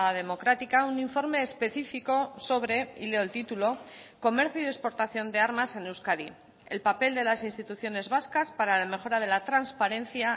democrática un informe específico sobre y leo el título comercio y exportación de armas en euskadi el papel de las instituciones vascas para la mejora de la transparencia